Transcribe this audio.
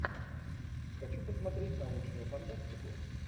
хочу посмотреть научную фантастику